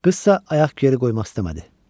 Qızsa ayaq geri qoymaq istəmədi.